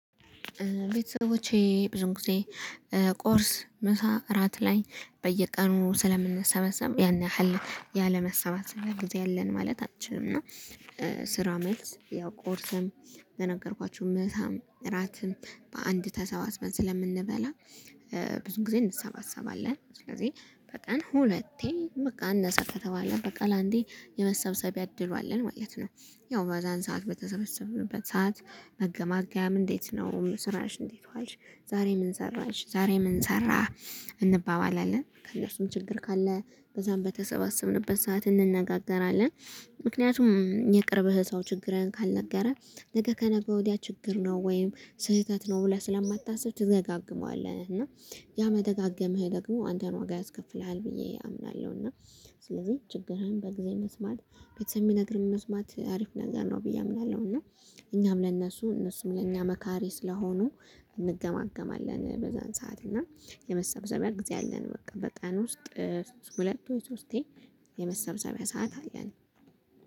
ቤተሰቦቼ ብዙ ጊዜ ቆርስ ምሳ እራት ላይ በየቀኑ ስለምንሰበሰብ ያን ያህል ያለመሰባሰብ ጊዜ አለን ማለት አንችልም። እና ስራ ሜልስ ያው ቆርሰም በነገርኳችሁ ምሳም እራትም በአንድ ተሰባስበን ስለምንበላ ብዙ ጊዜ እንሰባሰባለን። ስለዚህ በቀን ሁለቴ በቃ እነሱ ከተባለ በቀል አንዴ የመሰብሰቢያ እድሏልን ማለት ነው። ያው በዛን ሰዓት በተሰበሰብንበት ሰዓት መገማገያም እንዴት ነው ስራሽ እንዴት አልሽ ዛሬ ምን ሰራሽ ዛሬ ምን ሰራህ? እንባባላለን ከእነርሱም ችግር ካለ በዛም በተሰባሰብንበት ሰዓት እንነጋገራለን። ምክንያቱም የቅርብህ ሰው ችግርህን ካልነገረ ነገ ከነገ ወዲያ ችግር ነው ወይም ስህተት ነው ብለህ ስለማታስብ ትደጋገመዋለህ። እና ያመደጋገምህ ደግሞ አንተን ዋጋ ያስከፍልሃል ብዬ አምናለሁ። እና ስለዚህ ችግርህን በጊዜ መስማት ቤተሰብ የሚነግርህን ውስጥ ማት አሪፍ ነገር ነው ብዬ አምናለሁ። እና እኛም ለእነሱ እነሱም ለእኛ መካሬ ስለሆኑ እንገማገማለን። በዛን ሰዓት እና የመሰብሰቢያ ጊዜ አለን በቃ በቀን ውስጥ ሁለት ወይ ሶስቴ የመሰብሰቢያ ሰዓት አለን